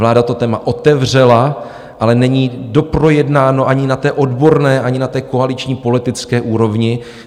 Vláda to téma otevřela, ale není doprojednáno ani na té odborné, ani na té koaliční politické úrovni.